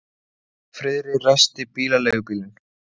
Sama dag byrjar hún líka að hafa áhuga á því sem sagt er við hana.